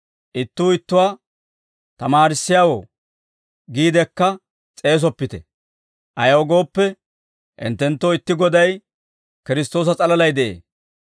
Ittuu ittuwaa, ‹Tamaarissiyaawoo› giidekka s'eesoppite; ayaw gooppe, hinttenttoo itti Goday, Kiristtoosa s'alalay de'ee.